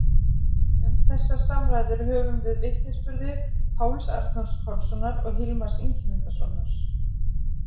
Um þessar samræður höfum við vitnisburði Páls Arnórs Pálssonar og Hilmars Ingimundarsonar.